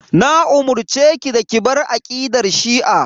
Na umurceki da ki bar aqidar shi'a.